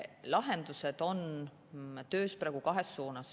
Lahendused on töös praegu kahes suunas.